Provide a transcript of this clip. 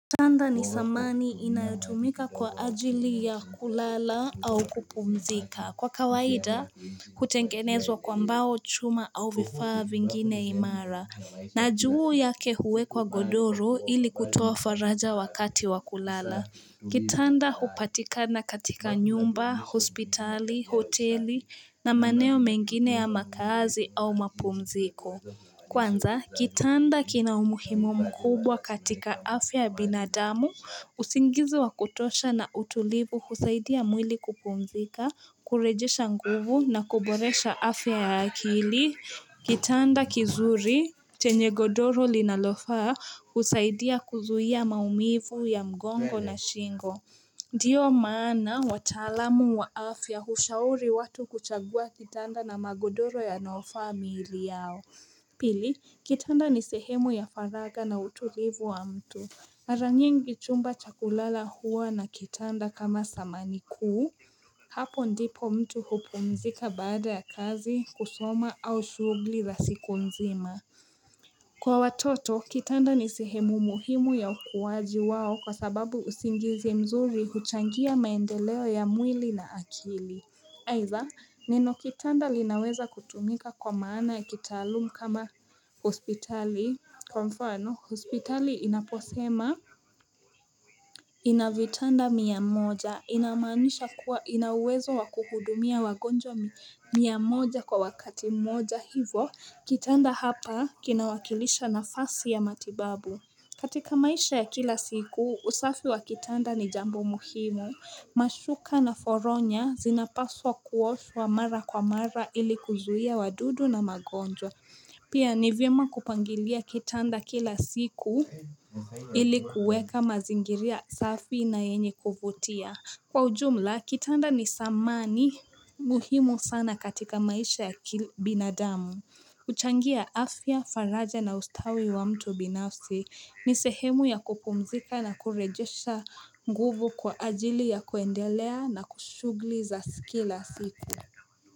Kwanza ni samani inayotumika kwa ajili ya kulala au kupumzika kwa kawaida kutengenezwa kwambao chuma au vifaa vingine imara na juu yake huwe kwa godoro ili kutoa faraja wakati wa kulala Kitanda upatikana katika nyumba, hospitali, hoteli na maneo mengine ya makazi au mapumziko Kwanza, kitanda kina umuhimu mkubwa katika afya binadamu, usingizi wa kutosha na utulivu kusaidia mwili kupumzika, kurejisha nguvu na kuboresha afya ya akili, kitanda kizuri, tenye godoro linalofaa kusaidia kuzuhia maumivu ya mgongo na shingo. Ndiyo maana watalamu wa afya hushauri watu kuchagua kitanda na magodoro ya nofamili yao Pili, kitanda ni sehemu ya faraga na utulivu wa mtu Aranyengi chumba chakulala huwa na kitanda kama sama ni kuu Hapo ndipo mtu hupumzika baada ya kazi, kusoma au shugli za siku nzima Kwa watoto, kitanda ni sihemu muhimu ya ukuwaji wao kwa sababu usingizi mzuri huchangia maendeleo ya mwili na akili. Haitha, nino kitanda linaweza kutumika kwa maana ya kitaalumu kama hospitali, konfano, hospitali inaposema. Inavitanda miya moja inamanisha kuwa inawezo wakuhudumia wagonjwa miya moja kwa wakati moja hivo kitanda hapa kinawakilisha nafasi ya matibabu katika maisha ya kila siku usafi wa kitanda ni jambo muhimu Mashuka na foronya zinapaswa kuoswa mara kwa mara ili kuzuhia wadudu na magonjwa Pia nivyema kupangilia kitanda kila siku ilikuweka mazingiria safi na yenye kuvotia Kwa ujumla kitanda ni samani muhimu sana katika maisha ya binadamu uchangia afya, faraja na ustawi wa mtu binafsi ni sehemu ya kupumzika na kurejesha nguvu kwa ajili ya kuendelea na kushugli za sikila siku.